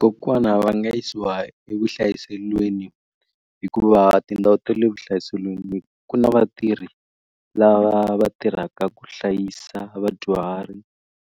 Kokwana va nga yisiwa evuhlayiselweni hikuva tindhawu ta le vuhlayiselweni ku na vatirhi lava va tirhaka ku hlayisa vadyuhari